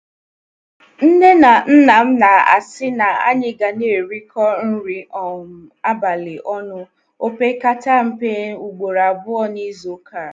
Nne na nna m na-asị na anyị ga na-erikọ nri um abalị ọnụ opekata mpe ugboro abụọ n’izu ụka.